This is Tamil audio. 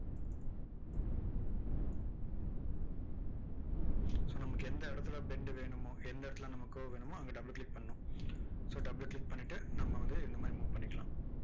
so நமக்கு எந்த இடத்தில bend வேணுமோ, எந்த இடத்தில நமக்கு curve வேணுமோ, அங்க double click பண்ணணும் so double click பண்ணிட்டு, நம்ம வந்து இந்த மாதிரி move பண்ணிக்கலாம்.